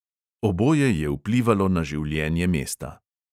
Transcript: Oboje je vplivalo na življenje mesta.